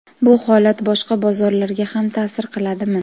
Bu holat boshqa bozorlarga ham ta’sir qiladimi?.